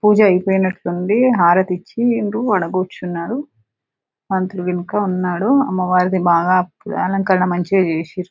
పూజ అయిపోయినట్టుంది.హారతి ఇచ్చిం డ్రు. కూర్చున్నారు. పంతులు వెనక ఉన్నాడు. అమ్మవారిది బాగా అలంకరణ మంచిగా చేసిండ్రు.